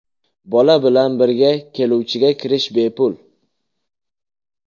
Bola bilan birga keluvchiga kirish bepul.